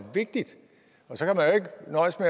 vigtigt